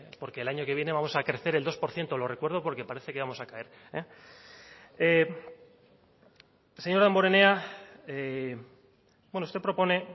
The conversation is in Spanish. porque el año que viene vamos a crecer el dos por ciento lo recuerdo porque parece que vamos a caer señor damborenea usted propone